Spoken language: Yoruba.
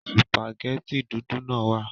Sùpàgẹ́tì dúdú náà wà